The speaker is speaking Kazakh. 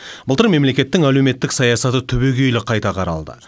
былтыр мемлекеттің әлеуметтік саясаты түбейгелі қайта қаралды